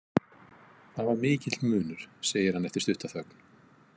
Það var mikill munur, segir hann eftir stutta þögn.